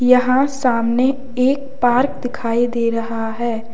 यहां सामने एक पार्क दिखाई दे रहा है।